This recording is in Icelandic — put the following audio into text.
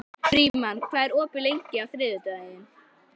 Frímann, hvað er opið lengi á þriðjudaginn?